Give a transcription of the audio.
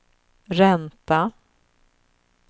ränta